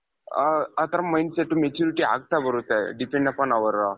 ಆ ತರ mind set maturity ಆಗ್ತಾ ಬರುತ್ತೆ depend upon our